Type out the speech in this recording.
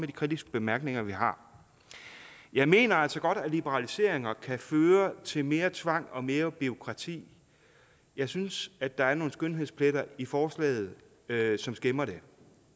de kritiske bemærkninger vi har jeg mener altså godt at liberaliseringer kan føre til mere tvang og mere bureaukrati jeg synes at der er nogle skønhedspletter i forslaget som skæmmer det